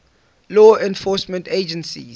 law enforcement agencies